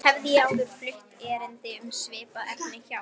Hafði ég áður flutt erindi um svipað efni hjá